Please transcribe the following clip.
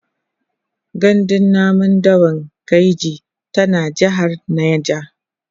gandun namun dawan kainji tana jehar neja